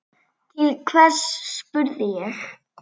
Til hvers, spurði ég.